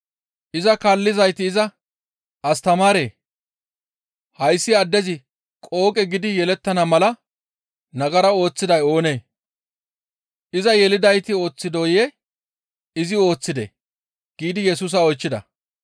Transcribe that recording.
Iza kaallizayti iza, «Astamaaree! Hayssi addezi qooqe gidi yelettana mala nagara ooththiday oonee? Iza yelidayti ooththidooyee? Izi ooththidee?» giidi Yesusa oychchida.